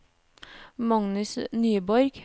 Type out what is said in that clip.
Magnus Nyborg